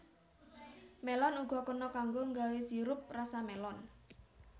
Mélon uga kena kanggo nggawé sirup rasa mélon